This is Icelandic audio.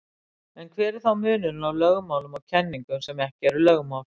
En hver er þá munurinn á lögmálum og kenningum sem ekki eru lögmál?